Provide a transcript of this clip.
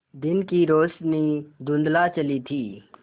दिन की रोशनी धुँधला चली थी